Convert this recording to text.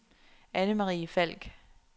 Anne-Marie Falk